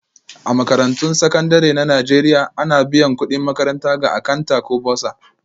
A Makarantun Sakandare na Najeriya, ana biyan kudin makaranta ga Akanta ko Bursar